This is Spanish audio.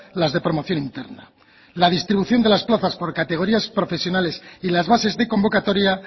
las de promoción interna la distribución de las plazas por categorías profesionales y las bases de convocatoria